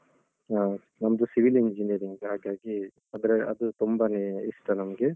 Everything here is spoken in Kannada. ಆ ನಮ್ದು Civil Engineering ಹಾಗಾಗಿ ಅಂದ್ರೆ ಅದು ತುಂಬಾನೇ ಇಷ್ಟ ನಮ್ಗೆ.